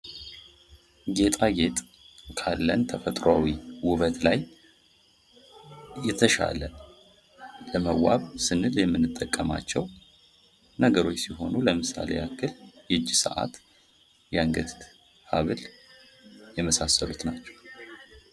ጌጣጌጥ ካለን ተፈጥሯዊ ዉበት ላይ የተሻለ ለመዋብ ስንል የምንጠቀማቸው ነገሮች ሲሆኑ ለምሳሌ ያክል የእጅ ሰዓት የአንገት ሀብል የመሳሰሉት ናቸው::